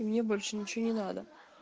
и мне больше ничего не надо